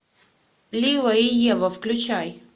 лила и ева включай